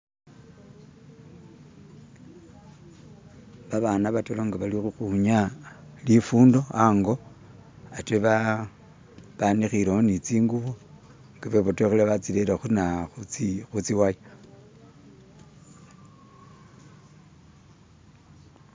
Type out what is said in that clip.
Babana ba'taru nga bali ukhwinyaya lifundo ango ate banikhilewo ne tsingubo tsebotokhelele batsirere khutsi waya.